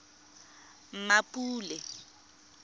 mmapule